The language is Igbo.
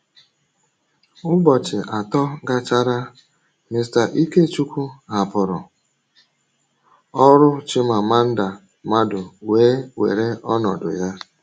Ụbọchị atọ gachara, Mr. Ikechukwu hapụrụ ọrụ, Chimamanda Madu wee were ọnọdụ ya.